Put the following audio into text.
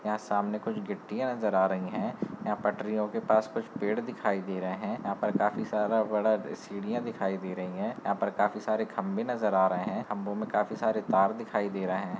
यहां सामने कुछ गिट्टियां नजर आ रही हैं यहां पटरियों के पास कुछ पेड़ दिखाई दे रहे हैं यहां पर काफी सारा बड़ा अ सिंड़ीया दिखाई दे रही है यहां पर काफी सारे खंबे नज़र आ रहे हैं खम्भों में काफी सारे तार दिखाई दे रहे हैं।